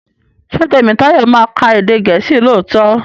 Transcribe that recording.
Ṣé Tèmítáyọ̀ ma ka èdè gèésì lóòtó?